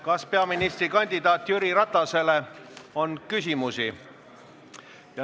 Kas peaministrikandidaat Jüri Ratasele on küsimusi?